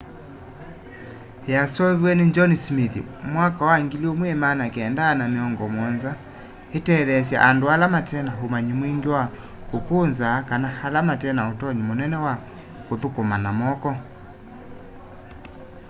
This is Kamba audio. yasooviwe ni john smith mwaka wa 1970s itetheesye andu ala matena umanyi mwingi wa kukunza kana ala matena utonyi munene wa kuthukuma na moko